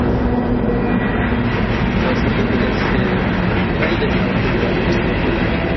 પછી city palace છે ઘણી જગ્યાઓ છે જોવાજેવી ઉદેપુર મા તો